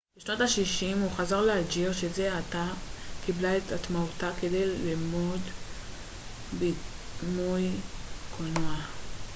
בשנות השישים הוא חזר לאלג'יר שזה עתה קיבלה את עצמאותה כדי ללמד בימוי קולנוע